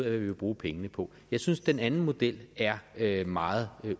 af hvad vi vil bruge pengene på jeg synes den anden model er meget